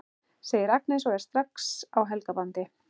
segir Agnes og er strax á Helga bandi.